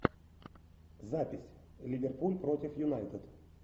запись ливерпуль против юнайтед